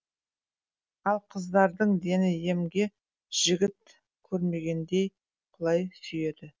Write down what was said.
ал қыздардың дені емге жігіт көрмегендей құлай сүйеді